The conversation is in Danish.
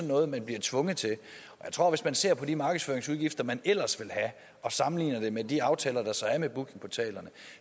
noget man bliver tvunget til og hvis man ser på de markedsføringsudgifter man ellers have og sammenligner det med de aftaler der så er med bookingportalerne